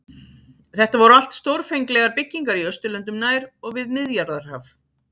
Þetta voru allt stórfenglegar byggingar í Austurlöndum nær og við Miðjarðarhaf.